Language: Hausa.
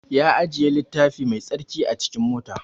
Ya ajiye littafi mai tsarki a cikin mota